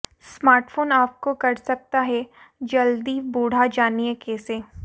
smartphone आपको कर सकता है जल्दी बूढा जानिए कैसे